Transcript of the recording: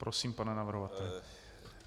Prosím, pane navrhovateli.